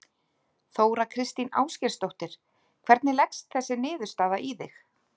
Þóra Kristín Ásgeirsdóttir: Hvernig leggst þessi niðurstaða í þig?